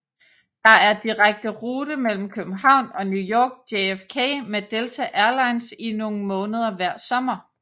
Der er direkte rute mellem København og New York JFK med Delta Airlines i nogle måneder hver sommer